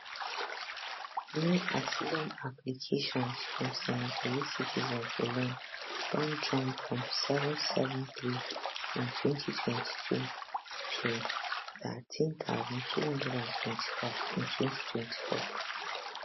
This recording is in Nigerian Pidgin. new asylum applications from senegalese citizens alone don jump from 773 in 2022 to 13224 in 2024